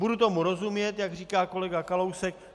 Budu tomu rozumět, jak říká kolega Kalousek.